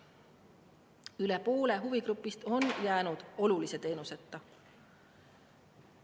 Üle poole huvigrupist on jäänud olulise teenuseta.